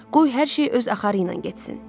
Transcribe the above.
Qoy hər şey öz axarı ilə getsin.